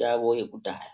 yavo yekudhaya.